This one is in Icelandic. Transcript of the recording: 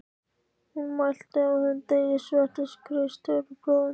Hún mælti: Á þeim degi sveittist Kristur blóðinu